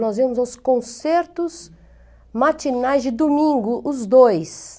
Nós íamos aos concertos matinais de domingo, os dois.